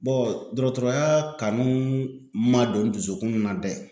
dɔgɔtɔrɔya kanu ma don dusukun na dɛ